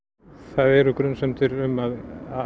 það eru grunsemdir um að